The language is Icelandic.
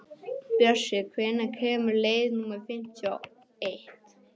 Bjössi, hvenær kemur leið númer fimmtíu og eitt?